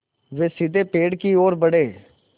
वे सीधे पेड़ की ओर बढ़े